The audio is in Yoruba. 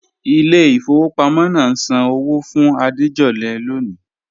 Ìlẹ̀ ifọwọ̀ pàmọ̀ náà ǹ sàn ọwọ́ fún Àdéjọ̀lẹ̀ lọ́ní